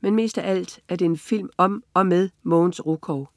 Men mest af alt er det en film om og med Mogens Rukov